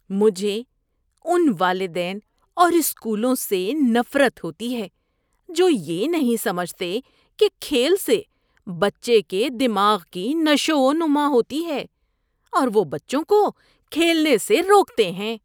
مجھے ان والدین اور اسکولوں سے نفرت ہوتی ہے جو یہ نہیں سمجھتے کہ کھیل سے بچے کے دماغ کی نشوونما ہوتی ہے اور وہ بچوں کو کھیلنے سے روکتے ہیں۔